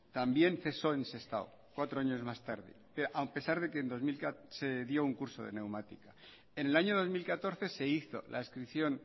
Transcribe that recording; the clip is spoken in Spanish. también cesó en sestao cuatro años más tarde a pesar de que en dos mil catorce se dio un curso de neumático en el año dos mil catorce se hizo la adscripción